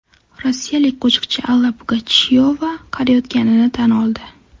Rossiyalik qo‘shiqchi Alla Pugachyova qariyotganini tan oldi.